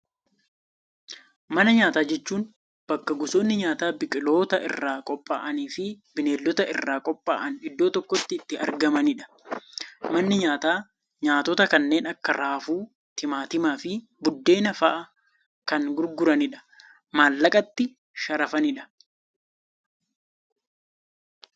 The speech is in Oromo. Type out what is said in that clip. Mana nyaataa jechuun, bakka gosoonni nyaataa biqiloota irraa qophaa'anii fi Bineeldota irraa qophaa'an iddoo tokkotti itti argamanidha. Manni nyaataa nyaatota kanneen akka raafuu, timaatima, fi buddeena fa'aa kan gurguranidha maallaqatti sharafanidha.